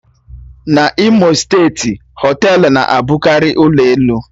N'Imo steeti, họtelu na-abụkarị ụlọ elu